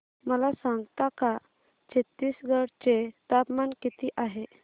मला सांगता का छत्तीसगढ चे तापमान किती आहे